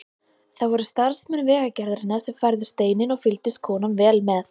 Það voru starfsmenn Vegagerðarinnar sem færðu steininn og fylgdist konan vel með.